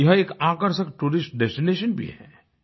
यह एक आकर्षक टूरिस्ट डेस्टिनेशन भी है